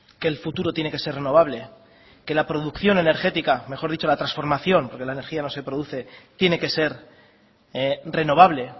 que el futuro tiene que ser renovable que la producción energética mejor dicho la transformación porque la energía no se produce tiene que ser renovable